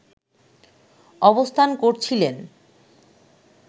অবস্থান করছিলেন